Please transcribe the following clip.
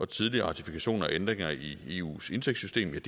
tidligere ratifikationer af ændringer i eus indtægtssystem er